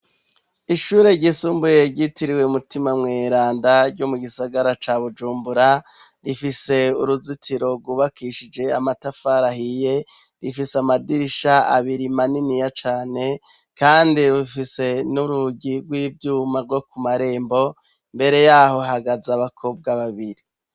Ishure ryisumbuye ryitiriwe mutima mweranda ryo mu gisagara ca bujumbura rifise uruzitiro rubakishije amatafarahiye rifise amadirisha abiri imaniniya cane, kandi rufise n'urugi rw'ivyuma rwo ku marembo mbere yaho hagaze abakobwa babiri.